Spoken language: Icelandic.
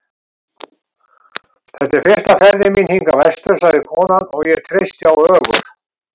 Þetta er fyrsta ferðin mín hingað vestur, sagði konan, og ég treysti á Ögur.